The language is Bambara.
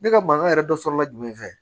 Ne ka mankan yɛrɛ dɔ sɔrɔla jumɛn fɛ